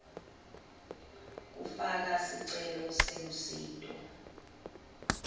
kufaka sicelo selusito